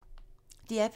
DR P2